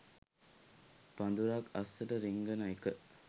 පඳුරක් අස්සට රිංගන එක